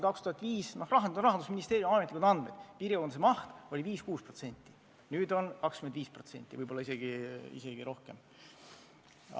Rahandusministeeriumi ametlikud andmed on, et piirikaubanduse maht oli siis 5–6%, nüüd on 25%, võib-olla isegi rohkem.